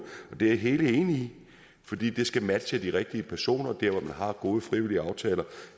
og det er jeg helt enig i for de skal matche de rigtige personer der hvor man har gode frivillige aftaler